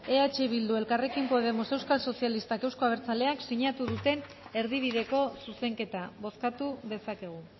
eh bildu elkarrekin podemos euskal sozialistak euzko abertzaleak sinatu duten erdibideko zuzenketa bozkatu dezakegu